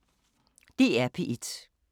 DR P1